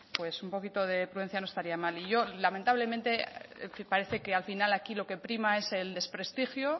pues un poquito de prudencia no estaría mal y yo lamentablemente parece que al final aquí lo que prima es el desprestigio